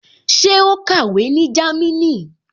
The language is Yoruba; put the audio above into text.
Ṣé ó kàwé ní Jámínì?